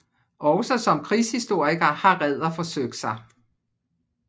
Også som krigshistoriker har Ræder forsøgt sig